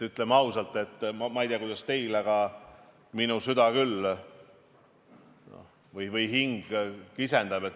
Ütleme ausalt, ma ei tea, kuidas teil, aga minu süda või hing küll kisendab.